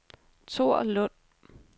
Thor Lund